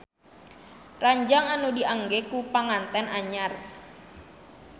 Ranjang anu diangge ku panganten anyar